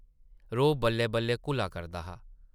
रोह् बल्लै-बल्लै घुला करदा हा ।